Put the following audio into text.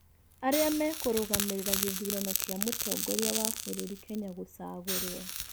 Arĩa mekũrũgamĩrĩra gĩthũrano kĩa mũtongoria wa bũrũri Kenya gũcagũrwo.